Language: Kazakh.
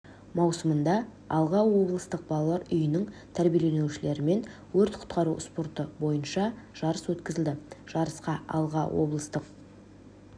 маусымында алға облыстық балалар үйінің тәрбиеленушілерімен өрт құтқару спорты бойынша жарыс өткізілді жарысқа алға облыстық